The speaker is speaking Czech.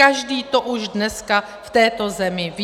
Každý to už dneska v této zemi ví.